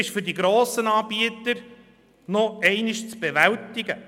Für die grossen Anbieter ist dies noch zu bewältigen.